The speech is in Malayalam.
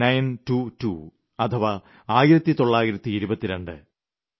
ഒനെ നൈൻ ട്വോ ട്വോ അഥവാ 1922